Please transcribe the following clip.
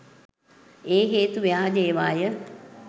ඒ හේතු ව්‍යාජ ඒවාය.